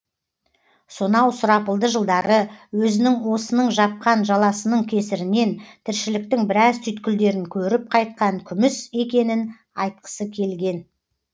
сонау сұрапылды жылдары өзінің осының жапқан жаласының кесірінен тіршіліктің біраз түйткілдерін көріп қайтқан күміс екенін айтқысы келген